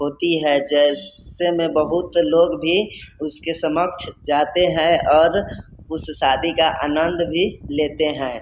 होती है जैसे में बोहोत लोग भी उसकी समक्ष जाते हैं और उस सादी का आनंद भी लेते हैं |